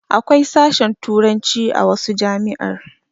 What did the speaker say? Akwai sashen turanci a wasu jami'ar